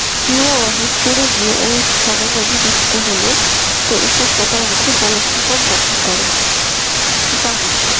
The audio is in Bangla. হিমবাহ সরে গিয়ে এই স্থানে নদী গঠিত হলে উপত্যকার মুখে জলপ্রপাত গঠন করে যেমন